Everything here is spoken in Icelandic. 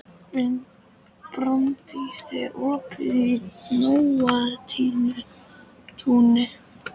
Brandís, er opið í Nóatúni?